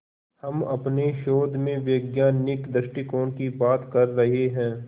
हम अपने शोध में वैज्ञानिक दृष्टिकोण की बात कर रहे हैं